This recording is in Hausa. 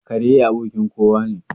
Kare abokin kowa ne.